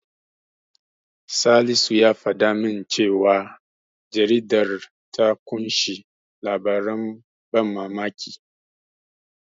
Salisu ya faɗa min cewa jaridar ta ƙunshi labaran ban mamaki.